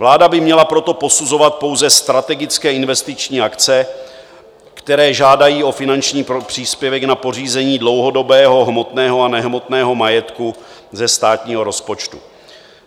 Vláda by měla proto posuzovat pouze strategické investiční akce, které žádají o finanční příspěvek na pořízení dlouhodobého hmotného a nehmotného majetku ze státního rozpočtu.